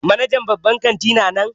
Manajan babban kanti na nan?